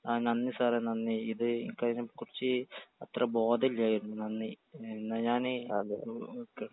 ആ നന്ദി സാറേ നന്ദി ഇത് ഇൻക്കയിനെ കുറിച്ച് അത്ര ബോധല്ലായിരുന്നു നന്ദി എന്നാ ഞാനേ ഓക്കേ.